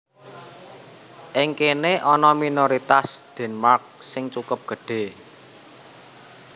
Ing kéné ana minoritas Denmark sing cukup gedhé